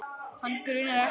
Hana grunar ekkert.